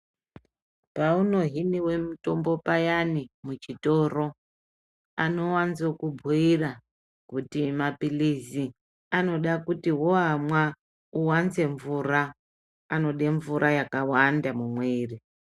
Paunohinwa mitombo payani muchitoro anowanza kubhuira kuti mapirizi anoda kuti woamwa wowanza mvura anoda mvura yakawanda mumwiri.